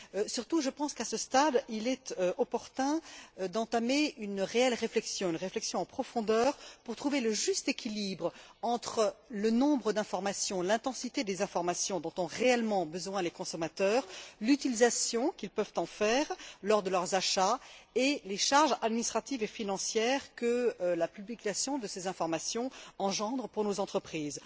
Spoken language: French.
Surtout, je pense qu'à ce stade, il est opportun d'entamer une réelle réflexion, en profondeur, pour trouver le juste équilibre entre le nombre d'informations, l'intensité des informations dont ont réellement besoin les consommateurs, l'utilisation qu'ils peuvent en faire lors de leurs achats et les charges administratives et financières que la publication de ces informations engendre pour nos entreprises.